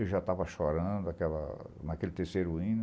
Eu já estava chorando naquela naquele terceiro hino.